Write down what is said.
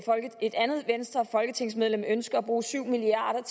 et andet folketingsmedlem ønsker at bruge syv milliard